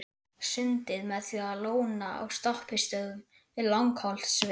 Sundið með því að lóna á stoppistöðvum við Langholtsveg.